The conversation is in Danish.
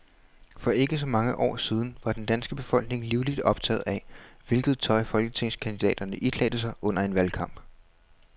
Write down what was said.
For ikke så mange år siden var den danske befolkning livligt optaget af, hvilket tøj folketingskandidaterne iklædte sig under en valgkamp.